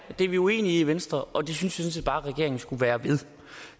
det er vi uenige i i venstre og det synes jeg sådan set bare at regeringen skulle være ved